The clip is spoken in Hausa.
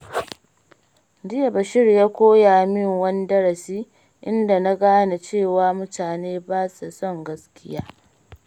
Jiya Bashir ya koya min wani darasi, inda na gane cewa mutane ba sa son gaskiya.